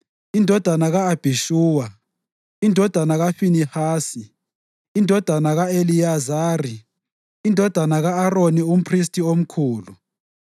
indodana ka-Abhishuwa, indodana kaFinehasi, indodana ka-Eliyazari, indodana ka-Aroni umphristi omkhulu,